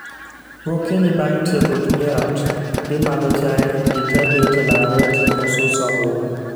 Gokinyi bang' tieko tije ot, gi madho chai, ji tee bet e laro e tipo suso oduma